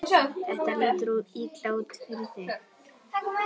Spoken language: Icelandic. Þetta lítur illa út fyrir þig